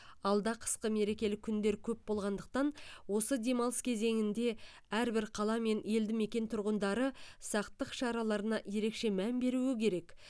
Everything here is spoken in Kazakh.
алда қысқы мерекелік күндер көп болғандықтан осы демалыс кезеңінде әрбір қала мен елді мекен тұрғындары сақтық шараларына ерекше мән беруі керек